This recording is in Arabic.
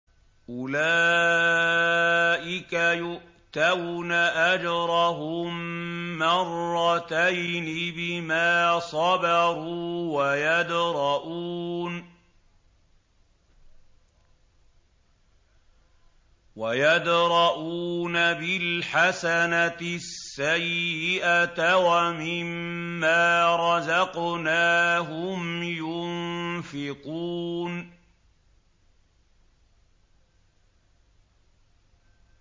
أُولَٰئِكَ يُؤْتَوْنَ أَجْرَهُم مَّرَّتَيْنِ بِمَا صَبَرُوا وَيَدْرَءُونَ بِالْحَسَنَةِ السَّيِّئَةَ وَمِمَّا رَزَقْنَاهُمْ يُنفِقُونَ